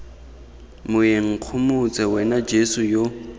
moeng nkgomotse wena jeso yo